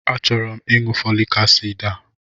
A chọrọ m ịṅụ fọlik asid a.